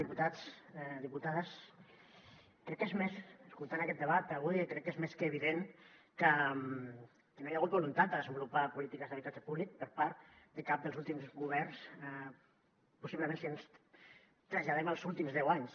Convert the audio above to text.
diputats diputades escoltant aquest debat avui crec que és més que evident que no hi ha hagut voluntat de desenvolupar polítiques d’habitatge públic per part de cap dels últims governs possiblement si ens traslladem als últims deu anys